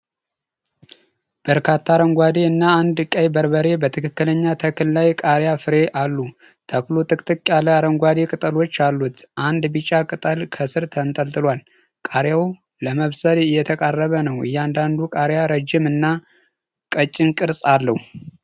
በርካታ አረንጓዴ እና አንድ ቀይ በርበሬ በትክክለኛ ተክል ላይ ቃሪያ ፍሬ አሉ። ተክሉ ጥቅጥቅ ያለ አረንጓዴ ቅጠሎች አሉት። አንድ ቢጫ ቅጠል ከስር ተንጠልጥሏል። ቃሪያው ለመብሰል እየተቃረበ ነው። እያንዳንዱ ቃሪያ ረጅም እና ቀጭን ቅርጽ አለው።